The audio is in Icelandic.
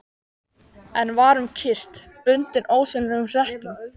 En var um kyrrt, bundinn ósýnilegum hlekkjum.